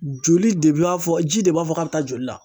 Joli de b'a fɔ, ji de b'a fɔ k'a bɛ taa joli la